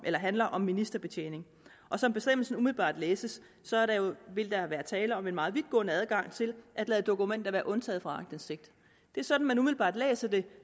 handler om ministerbetjening og som bestemmelsen umiddelbart læses vil der være tale om en meget vidtgående adgang til at lade dokumenter være undtaget fra aktindsigt det er sådan man umiddelbart læser det